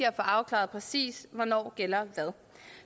at få afklaret præcis hvornår hvad gælder